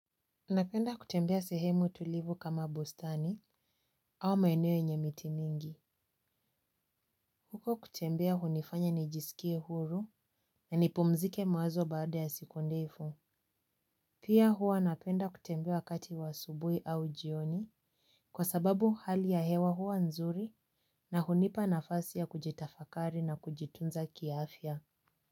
Napenda kutembea sehemu tulivu kama bustani au maeneo yenye miti nyingi. Huko kutembea hunifanya nijiskie huru. Na nipumzike mawazo baada ya siku ndefu. Pia huwa napenda kutembea wakati wa asubui au jioni. Kwa sababu hali ya hewa hua nzuri na hunipa na fasi ya kujitafakari na kujitunza kiafya.